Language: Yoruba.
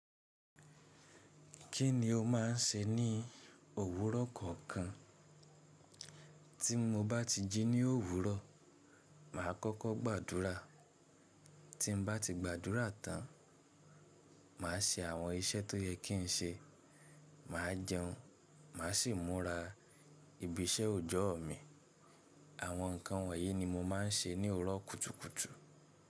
Kíni o máà n ṣe ní òwúrọ̀ kọ̀ọ̀kan? Tí mo bá ti jí ní òwúrọ̀, màá kọ́kọ́ gbàdúrà, tí n bá ti gbàdúrà tán, màá ṣe àwọn iṣẹ́ tó yẹ kí n ṣe, màá jẹun, màá sì múra ibi iṣẹ́ òjọ́o mi. Àwọn ǹkan wọ̀nyí ni mo máa n ṣe ní òwúrọ̀ kùtùkùtù.